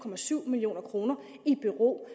million kroner i bero